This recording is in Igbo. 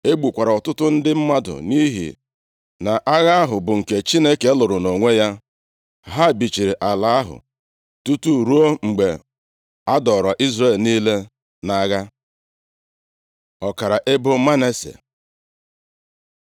E gbukwara ọtụtụ ndị mmadụ nʼihi na agha ahụ bụ nke Chineke lụrụ nʼonwe ya. Ha bichiri ala ahụ tutu ruo mgbe a dọọrọ Izrel niile nʼagha. Ọkara ebo Manase